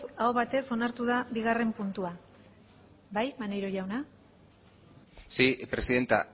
aho batez onartu da bigarren puntua bai maneiro jauna sí presidenta